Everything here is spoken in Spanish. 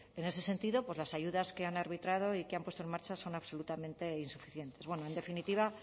en ese sentido pues las ayudas que han arbitrado y que han puesto en marcha son absolutamente insuficientes bueno en definitiva